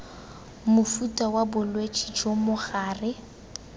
mofuta wa bolwetse jo mogare